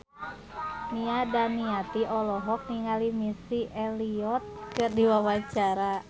Nia Daniati olohok ningali Missy Elliott keur diwawancara